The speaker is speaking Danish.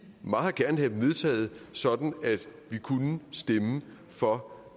meget gerne have dem vedtaget sådan at vi kunne stemme for